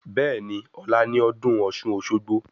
Bẹ́ẹ̀ni, ọ̀la ni ọdún ọ̀ṣun-òṣogbo